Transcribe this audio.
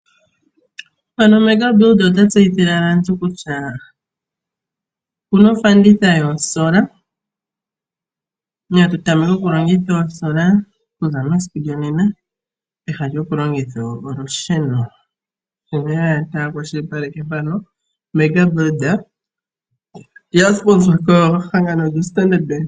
Mega build ota tseyithile aantu kutya okuna ofanditha yoosola. Ota kumagidha aantu yatameke okulongitha olusheno lwoketango, osho ta kwashilipaleke ngaaka. Okwa yambidhidhwa kombaanga lyoStandard.